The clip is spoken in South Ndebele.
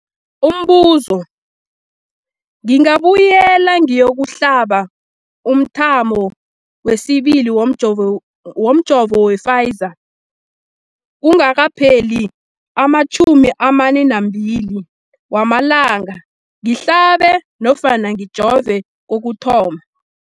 Umbuzo, ngingabuyela ngiyokuhlaba umthamo wesibili womjovo we-Pfizer kungakapheli ama-42 wamalanga ngihlabe nofana ngijove kokuthoma.